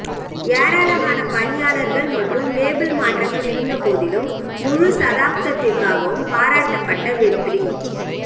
ஏராளமான பணியாளர்கள் மற்றும் லேபிள் மாற்றங்கள் இருந்தபோதிலும் முழுத் தசாப்தத்திற்காகவும் பாராட்டப்பட்ட வெற்றி